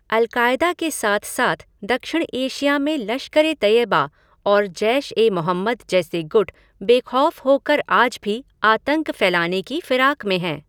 अल Qaeda के साथ साथ दक्षिण एशिया में लश्कर ए तैयबा और जैश ए मोहम्मद जैसे गुट बेखौफ़़ होकर आज भी आतंक फ़ैलाने की फ़िराक में है।